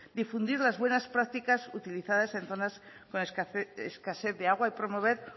difundir las buenas prácticas utilizadas en zonas con escasez de agua y promover